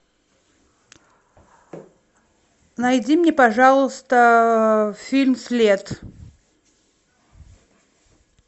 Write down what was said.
найди мне пожалуйста фильм след